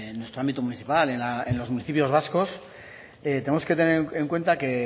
nuestro ámbito municipal en los municipios vascos tenemos que tener en cuenta que